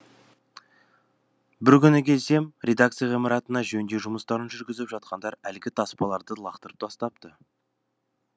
бір күні келсем редакция ғимаратына жөндеу жұмыстарын жүргізіп жатқандар әлгі таспаларды лақтырып тастапты